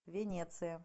венеция